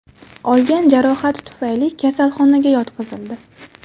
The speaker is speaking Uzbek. olgan jarohati tufayli kasalxonaga yotqizildi.